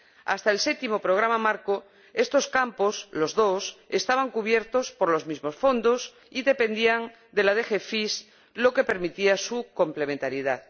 Hasta el Séptimo Programa Marco estos campos —los dos— estaban cubiertos por los mismos fondos y dependían de la DG Pesca, lo que permitía su complementariedad.